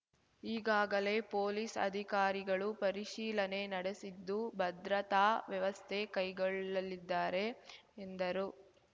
ಈಗಾಗಲೇ ಪೊಲೀಸ್ ಅಧಿಕಾರಿಗಳು ಪರಿಶೀಲನೆ ನಡೆಸಿದ್ದು ಭದ್ರತಾ ವ್ಯವಸ್ಥೆ ಕೈಗೊಳ್ಳಲಿದ್ದಾರೆ ಎಂದರು